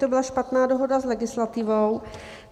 To byla špatná dohoda s legislativou.